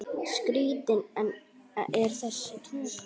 Skrítin er þessi tunga.